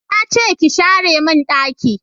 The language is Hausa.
Na ce ki share mun daki